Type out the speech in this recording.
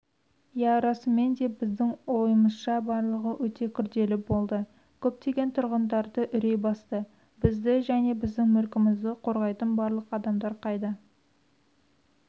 иә расымен де біздің ойымызша барлығы өте күрделі болды көптеген тұрғындарды үрей басты бізді және біздің мүлкімізді қорғайтын барлық адамдар қайда